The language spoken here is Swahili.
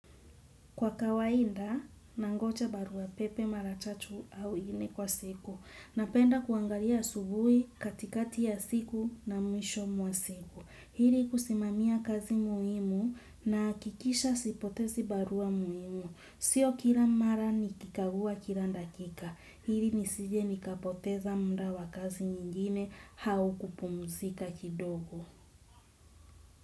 Kwa kawainda, nangocha barua pepe maratatu au nne kwa siku. Napenda kuangalia asubuhi katikati ya siku na mwisho mwa siku. Ili kusimamia kazi muhimu naakikisha sipotezi barua muhimu. Sio kila mara nikikagua kila dakika. Hili nisije nikapoteza muda wa kazi nyingine hau kupumzika kidogo.